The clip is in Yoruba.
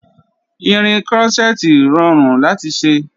Irin krọ́ṣẹ́tì rọrùn láti ṣe